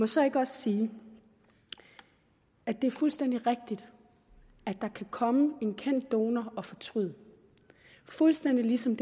så ikke også sige at det er fuldstændig rigtigt at der kan komme en kendt donor og fortryde fuldstændig ligesom